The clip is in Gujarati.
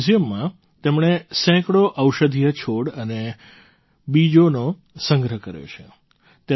આ મ્યૂઝિયમમાં તેમણે સેંકડો ઔષધીય છોડ અને બીજોનો સંગ્રહ કર્યો છે